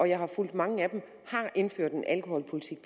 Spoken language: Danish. jeg har fulgt mange af dem at indføre en alkoholpolitik